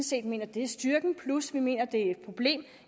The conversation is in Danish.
set mener at det er styrken plus vi mener at det er et problem